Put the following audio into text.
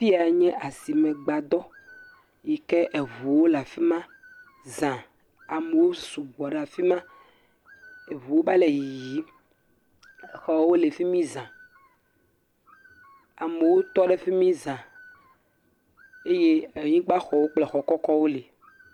fiya nye asime gbadɔ yike eʋuwo la fima zã amewo sugbɔ ɖa fima eʋuwo va le yiyim exɔwo la fima zã amewo tɔɖe fimi zã eye anyigbã xɔwo kple xɔ kɔkɔwo li